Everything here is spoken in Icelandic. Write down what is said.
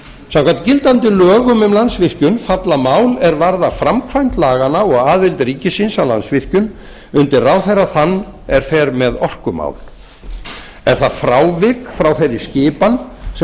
samkvæmt gildandi lögum um landsvirkjun falla mál er varða framkvæmd laganna og aðild ríkisins að landsvirkjun undir ráðherra þann sem fer með orkumál er það frávik frá þeirri skipan sem